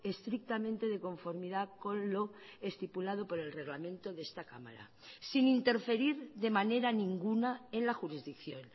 estrictamente de conformidad con lo estipulado por el reglamento de esta cámara sin interferir de manera ninguna en la jurisdicción